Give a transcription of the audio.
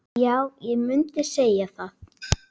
Já, ég mundi segja það.